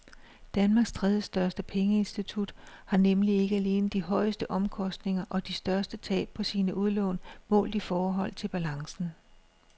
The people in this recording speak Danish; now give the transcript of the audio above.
Danmarks tredjestørste pengeinstitut har nemlig ikke alene de højeste omkostninger og de største tab på sine udlån målt i forhold til balancen.